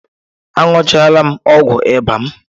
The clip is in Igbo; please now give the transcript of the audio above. Aṅụchaala m ọgwụ ịba m